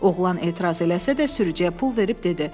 Oğlan etiraz eləsə də sürücüyə pul verib dedi: